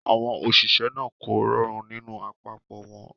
Àwọn òṣìṣẹ́ náà kò rọrùn nínú àpapọ̀ wọn.